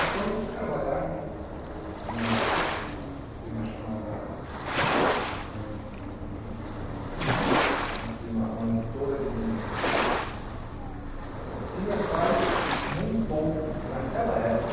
Então eu fui trabalhar numa firma chamada eh... uma firma uma editora de livros que meu pai montou naquela época